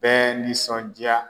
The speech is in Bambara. Bɛɛ nisɔndiya